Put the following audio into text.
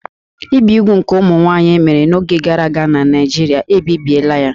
Ibi úgwù nke ụmụ nwanyị e mere n'oge gara aga na Naijiria, ebibiela ya